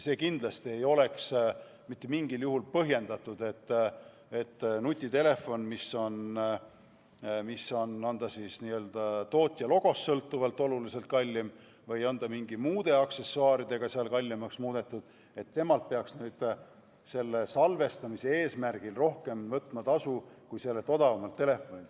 Kindlasti ei oleks mitte mingil juhul põhjendatud, et nutitelefonilt, mis on kas tootja logost sõltuvalt oluliselt kallim või on seda mingite muude aksessuaaridega kallimaks muudetud, peaks nüüd selle salvestamise tõttu võtma tasu rohkem kui mõnelt odavamalt telefonilt.